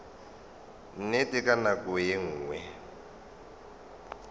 nnete ka nako ye nngwe